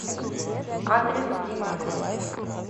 адрес димакс